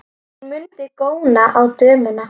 Hún mundi góna á dömuna.